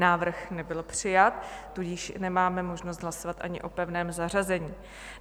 Návrh nebyl přijat, tudíž nemáme možnost hlasovat ani o pevném zařazení.